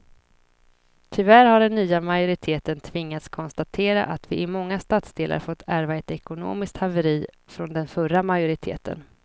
Tyvärr har den nya majoriteten tvingats konstatera att vi i många stadsdelar fått ärva ett ekonomiskt haveri från den förra majoriteten.